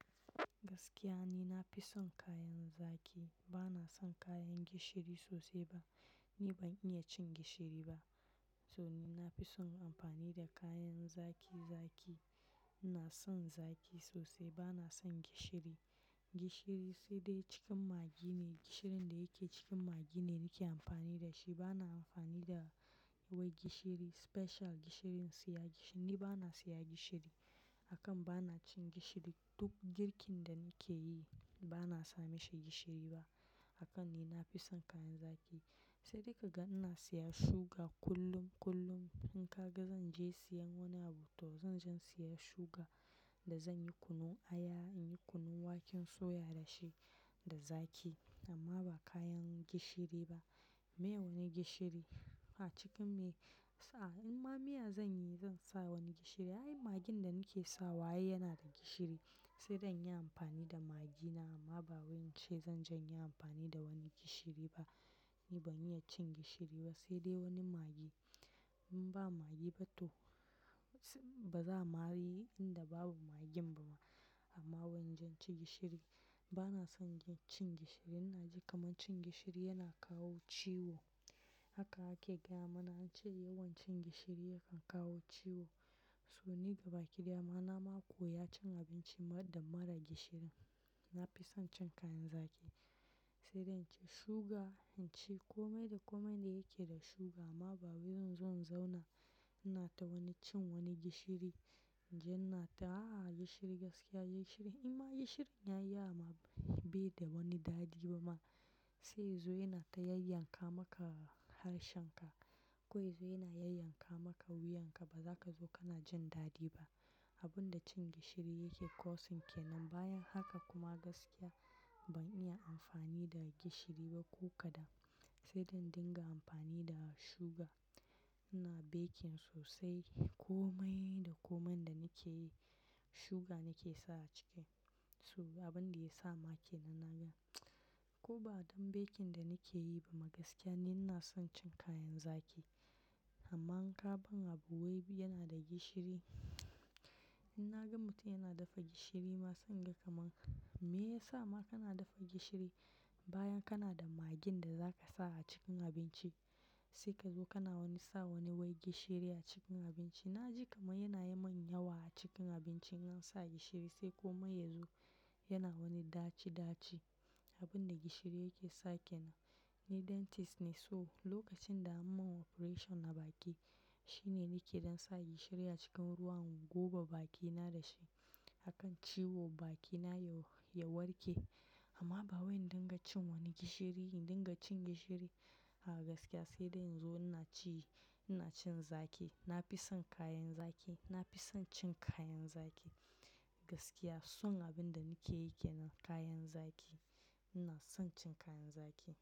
Gaskiya ni nafi son kayan zaki, bana son kayan gishiri sosai ba. Ni ban iya cin gishiri ba. To ni nafi son amfani da kayan zaki, zaki. Na son zaki sosai bana son gishiri. Gishiri sai dai cikin magi ne, gishirin da yake cikin magi ne nake amfani da shi. Bana amfani da wai gishiri special, gishirin siya. Ni bana siya gishiri. Akan bana cin gishiri, duk girkin da nake yi bana sami shi gishiri ba. Akan ni nafison kayan zaki. Sai dai kaga ina siya suga kullum, kullum. In ka ga zan je siyan wani abu to zan je siya suga da zan yi kunun aya, in yi kunun waken soya da shi da zaki. Amma ba kayan gishiri ba. Mee wani gishiri a cikin me? Sa in ma miya zan yi zan sa wani gishiri. Ai magin da nake sawa yana da gishiri. Sai dai in yi amfani da magina amma ba wani ce zan je in yi amfani da wani gishiri ba. Ni ban iya cin gishiri ba sai dai wani magi. In ba magi ba to ba za'a mari inda babu magin ba ma. Amma wani jan ci gishiri. Bana son cin gishiri. Naji kamar cin gishiri yana kawo ciwo. Haka ake gaya mana an ce yawan cin gishiri yakan kawo ciwo. To ni gaba kidaya ma na mako ya cin abinci marar da mara gishiri. Nafison cin kayan zaki. Sai dai in ci suga, in ci komai da komai da yake da suga amma bawai zan zo inzauna, ina ta wani cin wani gishiri. Jan nata a'a gishiri gaskiya gishiri. In ma gishirin yayi yawama bai da wani dadi ba ma. Sai ya zo yana ta yayyanka maka harshenka. Kwai zo yana yayyanka maka wuyanka ba za ka zo kana jin dadi ba. Abin da cin gishiri yake causing kenan. Bayan haka kuma gaskiya ban iya amfani da gishiri ba ko kadan. Sai dai in dinga amfani da suga. Ina baking sosai. Komai da komai da nake yi suga nake sa a ciki. So abin da ya sa make nan naga. Ko ba don baking da nake yi ba ma gaskiya ni na son cin kayan zaki. Amma in ka ban abu wai yana da gishiri. In naga mutum yana dafa gishiri ma sanga kamar me yasa ma kana dafa gishiri bayan kana da magin da za ka sa a cikin abinci. Sai ka zo kana wani sa wani wai gishiri a cikin abinci. Naji kamar yana yi min yawa a cikin abinci in an sa gishiri sai komai yazo yana wani daci daci. Abin da gishiri yake sake. Ni dentist ne so lokacin da an mun operation na baki shine nake don sa gishiri a cikin ruwan goba bakina da shi. Akan ciwo bakina ya warke. Amma ba wai in dinga cin wani gishiri, dinga cin gishiri. A'a gaskiya sai dai in zo ina ciyi, ina cin zaki. Nafison kayan zaki. Nafison cin kayan zaki. Gaskiya son abin da nake yake na kayan zaki. Ina son cin kayan zaki.